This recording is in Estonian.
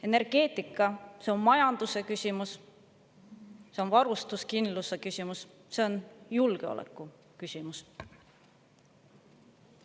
Energeetika – see on majanduse küsimus, see on varustuskindluse küsimus, see on julgeoleku küsimus.